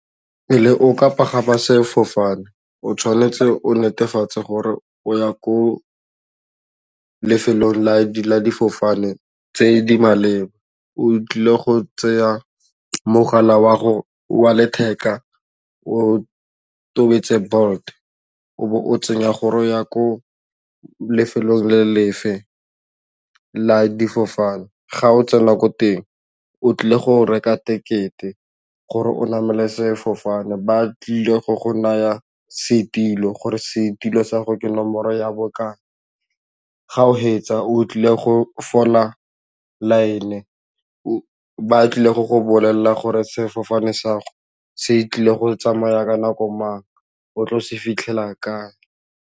Pele o ka pagama sefofane o tshwanetse o netefatse gore o ya ko lefelong la difofane tse di maleba o tlile go tseya mogala wa gago wa letheka o tobetse Bolt o bo o tsenya gore o ya ko lefelong le lefe la difofane ga o tsena ko teng o tlile go reka ticket-e gore o namele sefofane ba tlile go go naya setilo gore setilo sa go ke nomoro ya bokae, ga o fetsa o tlile go fola line ba tlile go go bolelela gore sefofane sa gago se tlile go tsamaya ka nako mang, o tlo se fitlhela kae.